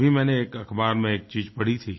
अभी मैंने एक अखबार में एक चीज़ पढ़ी थी